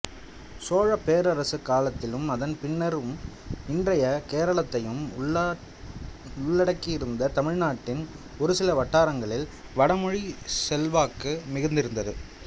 சோழப் பேரரசுக் காலத்திலும் அதன் பின்னரும் இன்றைய கேரளத்தையும் உள்ளடக்கியிருந்த தமிழ் நாட்டில் ஒருசில வட்டாரங்களில் வடமொழிச் செல்வாக்கு மிகுந்திருந்தது